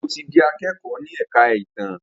Njé o tí dì akẹkọ ní èka ìtàn?